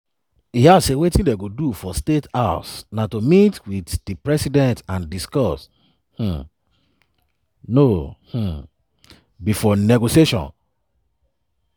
e add say wetin dem go do for state house na to meet wit di president and discuss um no um be for negotiation.